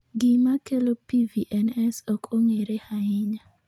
Gima kelo PVNS ok ong'ere ahinya.